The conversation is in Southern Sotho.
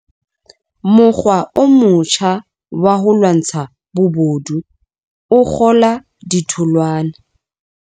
Mokgwa o motjha wa ho lwantsha bobodu o kgola ditholwana.